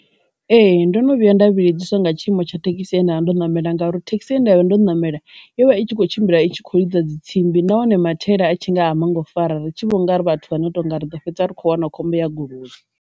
Ee, ndo no vhuya nda vhilidzesiwa nga tshiimo tsha thekhisi ye ndavha ndo namela ngauri thekhisi he ndavha ndo namela yo vha i tshi kho tshimbila itshi kho lidza dzi tsimbi na hone mathaela a tshi nga a manngo fara ri tshi vho ngauri vhathu vha no tonga ri ḓo fhedza ri kho wana khombo ya goloi.